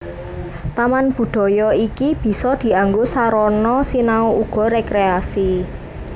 Taman budaya iki bisa dianggo sarana sinau uga rékréasi